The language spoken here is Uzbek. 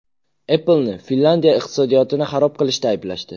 Apple’ni Finlyandiya iqtisodiyotini xarob qilishda ayblashdi.